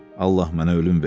Allah mənə ölüm ver.